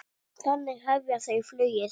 Þannig hefja þau flugið.